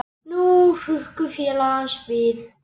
Nú hrukku félagar hans við.